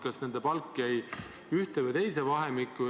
Kas nende palk jäi ühte või teise vahemikku?